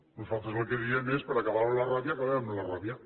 nosaltres el que diem és per acabar amb la ràbia acabem amb la ràbia